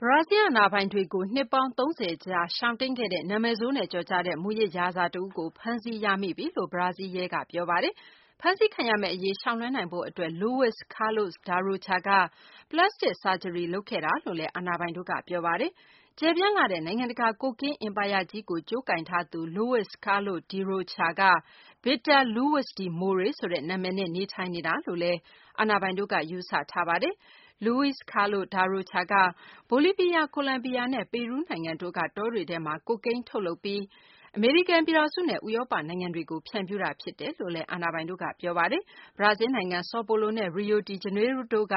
ဘရာဇီလ်း အာဏာပိုင်တွေကို နှစ်ပေါင်း ၃၀ ကြာ ရှောင်တိမ်းခဲ့တဲ့ နာမည်ဆိုးနဲ့ ကျော်ကြားတဲ့ မူးယစ်ရာဇာ တဦးကို ဖမ်းဆီးရမိပြီလို့ ဘရာဇီးလ်ရဲက ပြောဆိုပါတယ်။ ဖမ်းဆီးခံရမယ့် အရေး ရှောင်လွှဲနိုင်ဖို့ အတွက် Luiz Carlos da Rocha က ပလတ်စတစ် ဆာဂျရီ လုပ်ခဲ့တယ်လို့လည်း အာဏာပိုင်တို့က ပြောပါတယ်။ ကျယ်ပြန့်လှတဲ့ နိုင်ငံတကာ ကိုကင်း အင်ပါယာကြီးကို ကြိုးကိုင်ထားသူ Luiz Carlos da Rocha က Vitro Luiz de Moraes ဆိုတဲ့ နာမည်နဲ့ နေထိုင်နေတာလို့လည်း အာဏာပိုင်တို့က ယူုဆထားတာပါ။ Luiz Carlos da Rocha က ဘိုလီးဗီးယား၊ ကိုလံဘီယာနဲ့ ပီရူးနိုင်ငံတို့က တောတွေထဲမှာ ကိုကိန်း ထုတ်လုပ်ပြီး အမေရိကန် ပြည်ထောင်စုနဲ့ ဥရောပ နိုင်ငံတွေကို ဖြန့်ဖြူးတာ ဖြစ်တယ်လို့ အာဏာပိုင်တို့က ပြောပါတယ်။ ဘရာဇီလ်းနိုင်ငံ ဆော်ပိုလိုနဲ့ ရီယို ဒီဂျနေးရိုးလ်လ်း တို့က